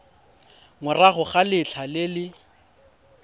morago ga letlha le le